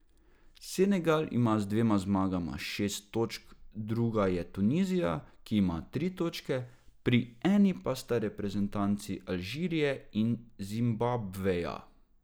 Senegal ima z dvema zmagama šest točk, druga je Tunizija, ki ima tri točke, pri eni pa sta reprezentanci Alžirije in Zimbabveja.